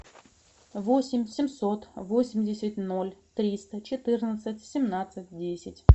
восемь семьсот восемьдесят ноль триста четырнадцать семнадцать десять